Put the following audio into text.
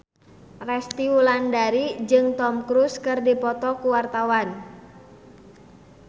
Resty Wulandari jeung Tom Cruise keur dipoto ku wartawan